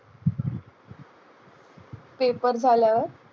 Paper झाल्यावर.